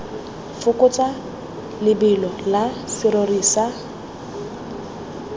fokotsa lebelo la serori sa